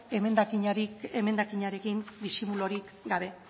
emendakinarekin disimulurik gabe